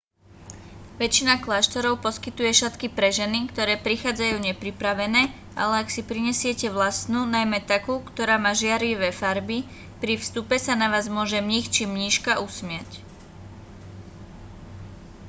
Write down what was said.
väčšina kláštorov poskytuje šatky pre ženy ktoré prichádzajú nepripravené ale ak si prinesiete vlastnú najmä takú ktorá má žiarivé farby pri vstupe sa na vás môže mních či mníška usmiať